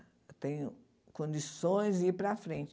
Eu tenho condições de ir para frente.